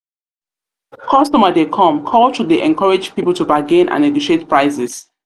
customer dey come' culture dey encourage people to bargain and negotiate prices.